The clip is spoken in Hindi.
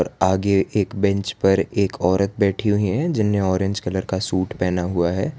आगे एक बेंच पर एक औरत बैठी हुई हैं जिन्हें ऑरेंज कलर का सूट पहना हुआ है।